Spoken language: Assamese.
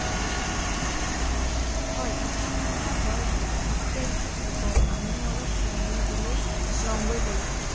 হয় ইহঁত মানুহৰ বৰ উপকাৰী এতিয়া ইহঁত শুব আমিও অলপ জিৰণি লবলৈ লওঁগৈ বলা